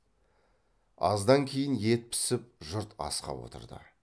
аздан кейін ет пісіп жұрт асқа отырды